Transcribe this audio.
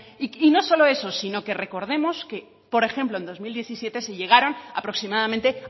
y no solo eso sino que recordemos que por ejemplo en dos mil diecisiete se llegaron aproximadamente